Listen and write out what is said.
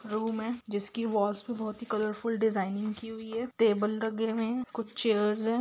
Room है जिसकी walls पर बहुत ही कलरफूल डिजाइनिंग की हुई है टेबल लगे हुए हैं कुछ चेयर्स हैं।